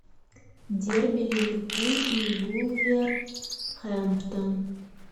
дерби ливерпуль и вулверхэмптон